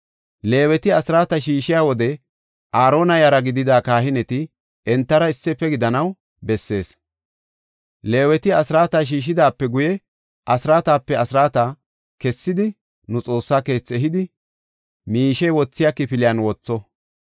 Leeweti asraata shiishiya wode, Aarona yara gidida kahineti entara issife gidanaw bessees. Leeweti asraata shiishidaape guye, asraatape asraata kessidi nu Xoossa keethi ehidi, miishe wothiya kifiliyan wotho.